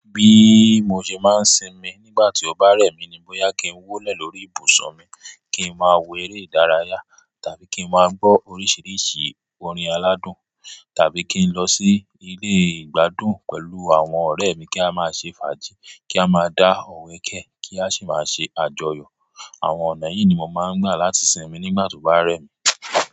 Bí mo ṣe máa ń sinmi nígbà tí ó bá rẹ̀ mí ni bóyá kí n wọ́lẹ̀ lórí ìbùsùn mi kí n máa wo eré ìdárayá tàbí kí n máa gbọ́ oríṣiríṣi orin aládùn tàbí kí n lọ sí ilé ìgbadùn pẹ̀lú àwọn ọ̀rẹ́ mi kí a máa ṣe fàájì, kí a máa dá ọ̀wẹ́ kẹ́, kí a sì máa ṣe àjọyọ̀. Àwọn ọ̀nà yìí ni mo máa ń gbà láti sinmi nígbà tí ó bá rẹ̀ mí.